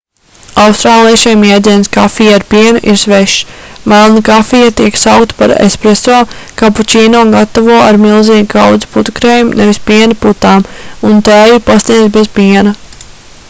austrāliešiem jēdziens 'kafija ar pienu' ir svešs. melna kafija tiek saukta par 'espresso' kapučīno gatavo ar milzīgu kaudzi putukrējuma nevis piena putām un tēju pasniedz bez piena